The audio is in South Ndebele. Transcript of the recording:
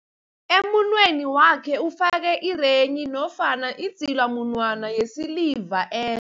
Emunweni wakhe ufake irenghi nofana idzilamunwana yesiliva eh